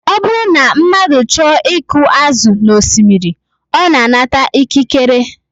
Ọ bụrụ na mmadụ chọọ iku azụ n'osimiri, ọ na-anata ikikere